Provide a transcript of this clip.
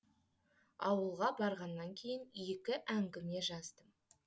ауылға барғаннан кейін екі әңгіме жаздым